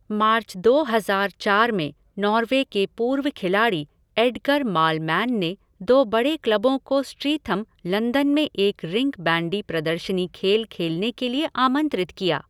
मार्च दो हजार चार में, नॉर्वे के पूर्व खिलाड़ी एडगर मालमैन ने दो बड़े क्लबों को स्ट्रीथम, लंदन में एक रिंक बैंडी प्रदर्शनी खेल खेलने के लिए आमंत्रित किया।